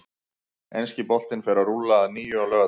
Enski boltinn fer að rúlla að nýju á laugardag.